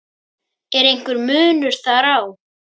Er einhver munur þar á?